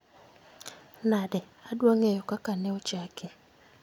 Nade? Adwa ng'eyo kaka ne ochaki